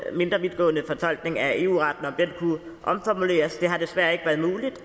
mindre vidtgående fortolkning af eu retten om den kunne omformuleres det har desværre ikke været muligt